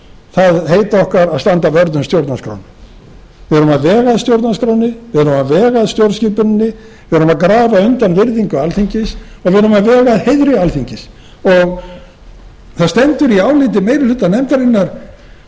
það heit okkar að standa vörð um stjórnarskrána við erum að vega að stjórnarskránni við erum að vega að stjórnskipuninni við erum að grafa undan virðingu alþingis og við erum að vega að heiðri alþingis það stendur í áliti meiri hluta nefndarinnar